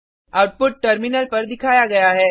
output terminal पर दिखाया गया है